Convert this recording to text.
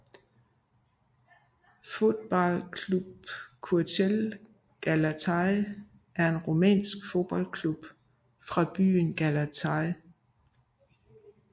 Fotbal Club Oţelul Galaţi er en rumænsk fodboldklub fra byen Galaţi